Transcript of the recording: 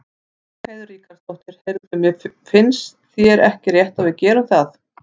Ragnheiður Ríkharðsdóttir: Heyrðu, finnst þér ekki rétt að við gerum það?